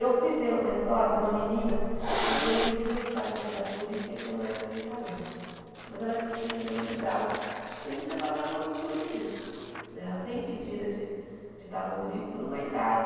Eu fui ver uma história de uma menina que foi impedida de estar no Projeto Guri porque tinha mais de trinta anos, mas ela tem síndrome de Down e a gente achava que era um absurdo isso né, ela ser impedida de estar no Guri por uma idade